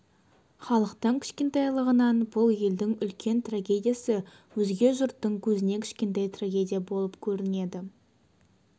халқының кішкентайлығынан бұл елдің үлкен трагедиясы өзге жұрттың көзіне кішкентай трагедия болып көрінеді